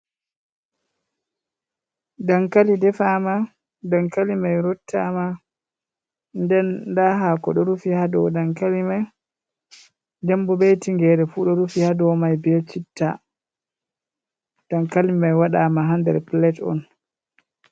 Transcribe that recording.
Dankali defama, dankali mai rottama, den nda hako ɗo rufi ha dow dankali mai, ɗen bo be tingere fu ɗo rufi ha dou mai be citta. Dankali mai waɗama ha ndar plate on.